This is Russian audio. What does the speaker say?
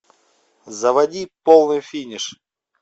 заводи полный финиш